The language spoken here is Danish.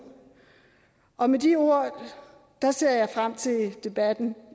og med de ord ser jeg frem til debatten